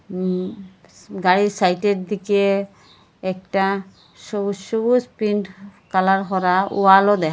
উ গাড়ির সাইডে র দিকে একটা সবুজ সবুজ প্রিন্ট কালার করা ওয়াল ও দেখা--